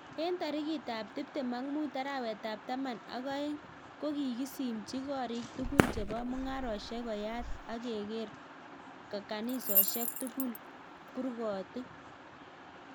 Eng tarikitt ap tiptem ak muut arawet ap taman ak oeng ko kikisimchii korik tugul chepo mungarosiek koyaat ageker kanisosiek tugul kurgotic